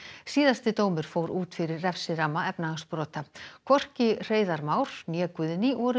síðasti dómur fór út fyrir refsiramma efnahagsbrota hvorki Hreiðar né Guðný voru